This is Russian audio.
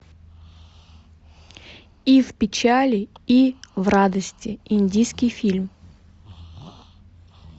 и в печали и в радости индийский фильм